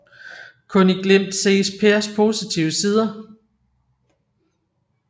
Kun i glimt ses Pers positive sider